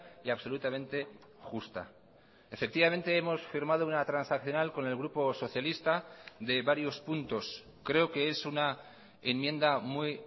y absolutamente justa efectivamente hemos firmado una transaccional con el grupo socialista de varios puntos creo que es una enmienda muy